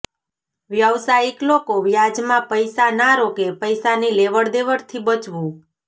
વ્યવસાયિક લોકો વ્યાજ માં પૈસા ના રોકે પૈસાની લેવડદેવડ થી બચવું